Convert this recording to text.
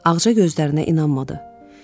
Ağca gözlərinə inanmadı.